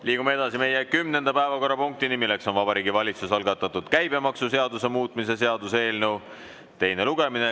Liigume edasi kümnenda päevakorrapunkti juurde, milleks on Vabariigi Valitsuse algatatud käibemaksuseaduse muutmise seaduse eelnõu teine lugemine.